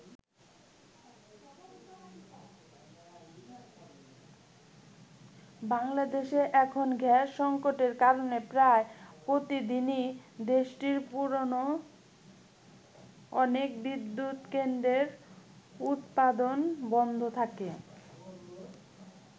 বাংলাদেশে এখন গ্যাস সংকটের কারণে প্রায় প্রতিদিনই দেশটির পুরনো অনেক বিদ্যুৎকেন্দ্রের উৎপাদন বন্ধ থাকে।